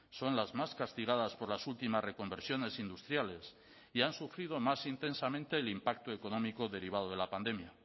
son las más castigadas por las últimas reconversiones industriales y han sufrido más intensamente el impacto económico derivado de la pandemia